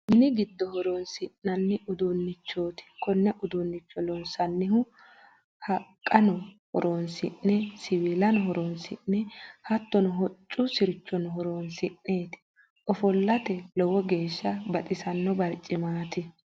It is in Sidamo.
Mini giddo horonsi'nanni uduunchoti kone uduunicho loonsanihu haqqano horonsi'ne siwiillano horonsi'ne hattono hoccu sirchono horonsi'neti ofollate lowo geeshsha baxisano baricimati.